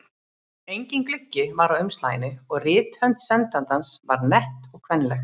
Enginn gluggi var á umslaginu og rithönd sendandans var nett og kvenleg.